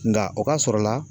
Nka o ka sɔrɔ la